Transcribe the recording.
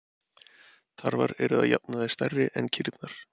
Tarfar eru að jafnaði stærri en kýrnar.